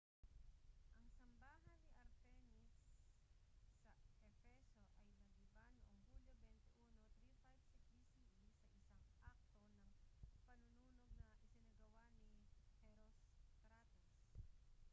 ang sambahan ni artemis sa efeso ay nagiba noong hulyo 21 356 bce sa isang akto ng panununog na isinagawa ni herostratus